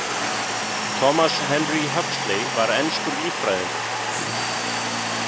Thomas Henry Huxley var enskur líffræðingur.